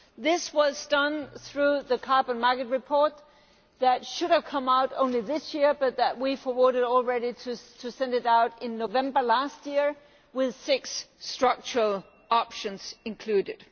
This was done through the carbon market report that should have come out only this year, but we brought it forward and sent it out in November last year with six structural options included.